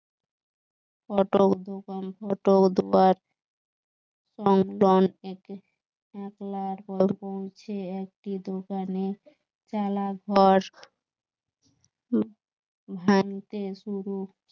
auto দোকান auto উৎপাত একটি দোকানে চালা ঘর ভাঙতে শুরু